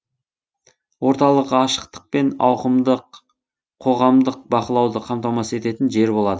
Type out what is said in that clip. орталық ашықтық пен ауқымды қоғамдық бақылауды қамтамасыз ететін жер болады